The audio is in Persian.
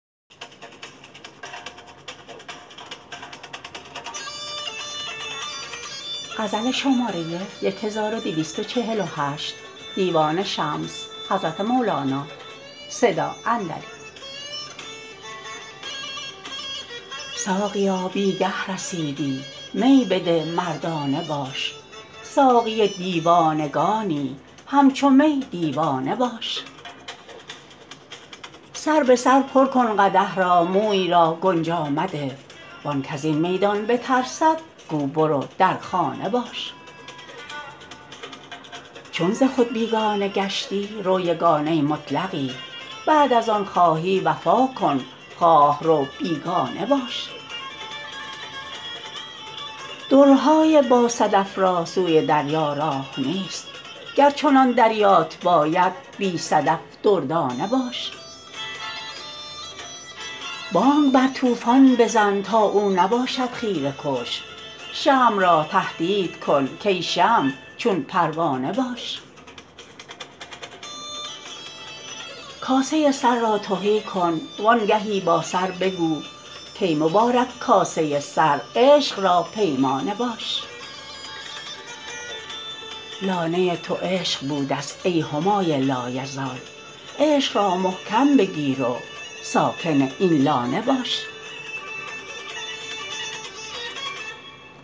ساقیا بی گه رسیدی می بده مردانه باش ساقی دیوانگانی همچو می دیوانه باش سر به سر پر کن قدح را موی را گنجا مده وان کز این میدان بترسد گو برو در خانه باش چون ز خود بیگانه گشتی رو یگانه مطلقی بعد از آن خواهی وفا کن خواه رو بیگانه باش درهای باصدف را سوی دریا راه نیست گر چنان دریات باید بی صدف دردانه باش بانگ بر طوفان بزن تا او نباشد خیره کش شمع را تهدید کن کای شمع چون پروانه باش کاسه سر را تهی کن وانگهی با سر بگو کای مبارک کاسه سر عشق را پیمانه باش لانه تو عشق بودست ای همای لایزال عشق را محکم بگیر و ساکن این لانه باش